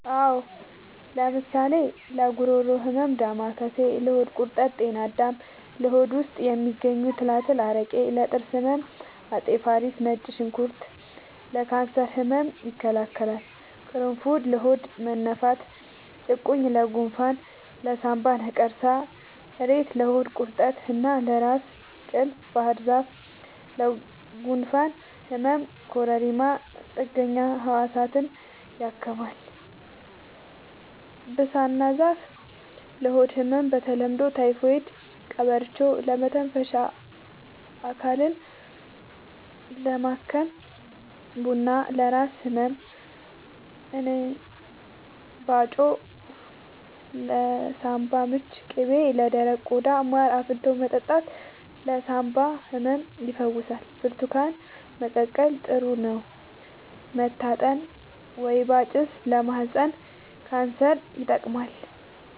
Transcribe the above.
አዎ ለምሳሌ ለጉሮሮ ህመም ዳማከሴ ለሆድ ቁርጠት ጤና አዳም ለሆድ ውስጥ የሚገኙ ትላትል አረቄ ለጥርስ ህመም አፄ ፋሪስ ነጭ ሽንኩርት ለካንሰር ህመም ይከላከላል ቁሩፉድ ለሆድ መነፋት ጭቁኝ ለጎንፋን ለሳንባ ነቀርሳ እሬት ለሆድ ቁርጠት እና ለራስ ቅል ባህርዛፍ ለጉንፋን ህመም ኮረሪማ ጥገኛ ህዋሳትን ያክማል ብሳና ዛፍ ለሆድ ህመም በተለምዶ ታይፎድ ቀበርቿ ለመተንፈሻ አካልን ለማከም ቡና ለራስ ህመም እንባጮ ለሳንባ ምች ቅቤ ለደረቀ ቆዳ ማር አፍልቶ መጠጣት ለሳንባ ህመም ይፈውሳል ብርቱካን መቀቀል ጥሩ ነው መታጠን ወይባ ጭስ ለማህፀን ካንሰር ይጠቅማል